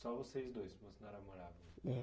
Só vocês dois,